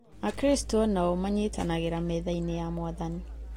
Akristo onao manyitanagĩra methainĩ ya Mwathani.